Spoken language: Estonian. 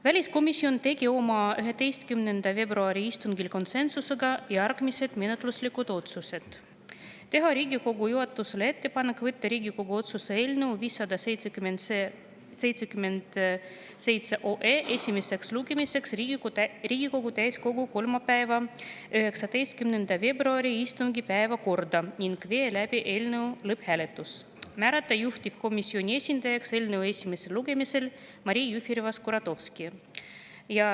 Väliskomisjon tegi oma 11. veebruari istungil konsensusega järgmised menetluslikud otsused: teha Riigikogu juhatusele ettepanek võtta Riigikogu otsuse eelnõu 577 esimeseks lugemiseks Riigikogu täiskogu kolmapäeva, 19. veebruari istungi päevakorda ja viia läbi lõpphääletus ning määrata juhtivkomisjoni esindajaks eelnõu esimesel lugemisel Maria Jufereva-Skuratovski.